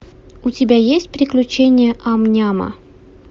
у тебя есть приключения ам няма